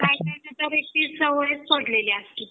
काहीना तशी सवयच पडलेली असती